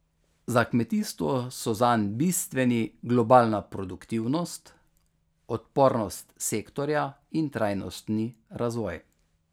Za kmetijstvo so zanj bistveni globalna produktivnost, odpornost sektorja in trajnostni razvoj.